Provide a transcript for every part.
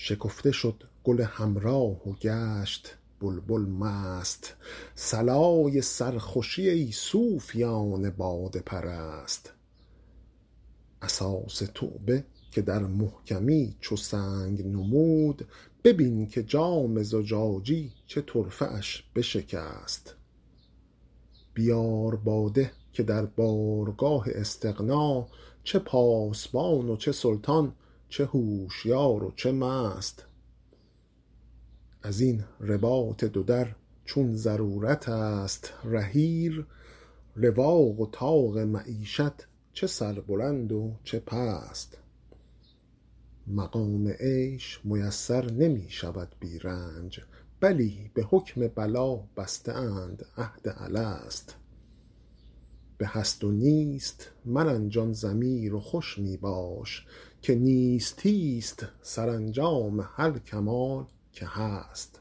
شکفته شد گل حمرا و گشت بلبل مست صلای سرخوشی ای صوفیان باده پرست اساس توبه که در محکمی چو سنگ نمود ببین که جام زجاجی چه طرفه اش بشکست بیار باده که در بارگاه استغنا چه پاسبان و چه سلطان چه هوشیار و چه مست از این رباط دو در چون ضرورت است رحیل رواق و طاق معیشت چه سربلند و چه پست مقام عیش میسر نمی شود بی رنج بلی به حکم بلا بسته اند عهد الست به هست و نیست مرنجان ضمیر و خوش می باش که نیستی ست سرانجام هر کمال که هست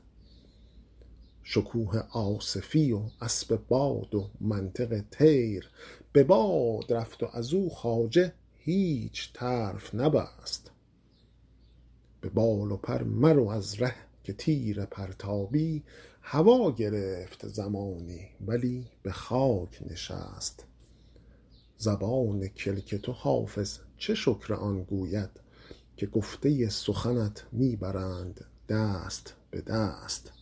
شکوه آصفی و اسب باد و منطق طیر به باد رفت و از او خواجه هیچ طرف نبست به بال و پر مرو از ره که تیر پرتابی هوا گرفت زمانی ولی به خاک نشست زبان کلک تو حافظ چه شکر آن گوید که گفته سخنت می برند دست به دست